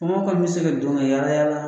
Faamaw kɔni bɛ se ka don ka yaala-yaala